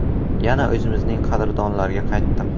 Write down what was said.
Yana o‘zimizning “qadrdonlar”ga qaytdim.